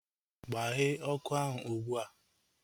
Gbaghee ọkụ ahu ụgbụa!